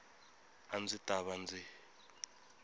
a ndzi ta va ndzi